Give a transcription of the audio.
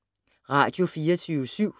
Radio24syv